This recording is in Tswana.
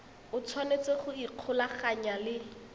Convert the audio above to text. o tshwanetse go ikgolaganya le